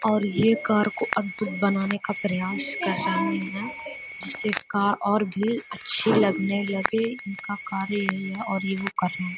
और ये कार को अद्भुत बनाने का प्रयास कर रहे हैं। जिससे कार और भी अच्छी लगने लगे। इनका कार्य यही है और ये वो कर रहे --